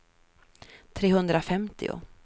trehundrafemtio